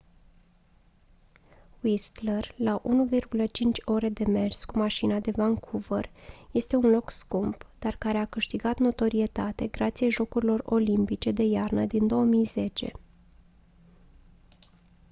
whistler la 1,5 ore de mers cu mașina de vancouver este un loc scump dar care a câștigat notorietate grație jocurilor olimpice de iarnă din 2010